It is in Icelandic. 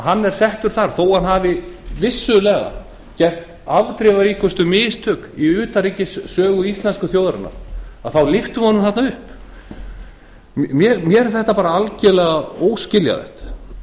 hann er settur þar þó að hann hafi vissulega gert afdrifaríkustu mistök í utanríkissögu íslensku þjóðarinnar ríkisstjórnin lyfti honum þarna upp mér er það bara algjörlega óskiljanlegt